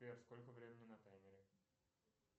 сбер сколько времени на таймере